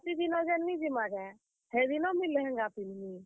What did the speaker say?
ବରାତି ଦିନ ଯେନ୍ ନି ଯିମା କାଏଁ, ହେଦିନ ମୁଇଁ ଲେହେଙ୍ଗା ପିନ୍ଧମି।